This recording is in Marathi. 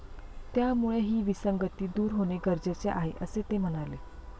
त्यामुळे ही विसंगती दूर होणे गरजेचे आहे, असे ते म्हणाले.